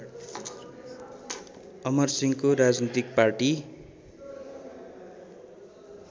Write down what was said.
अमरसिंहको राजनीतिक पार्टी